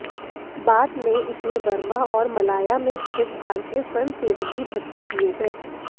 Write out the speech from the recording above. बाद में इसमें बर्मा और मलाया में स्थित भारतीय स्वयंसेवक भी भर्ती किए गए